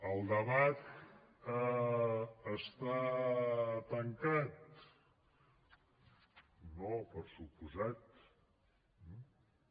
el debat està tancat no per descomptat